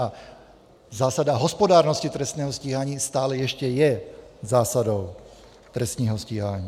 A zásada hospodárnosti trestního stíhání stále ještě je zásadou trestního stíhání.